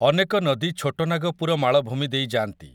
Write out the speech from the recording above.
ଅନେକ ନଦୀ ଛୋଟନାଗପୁର ମାଳଭୂମି ଦେଇ ଯାଆନ୍ତି ।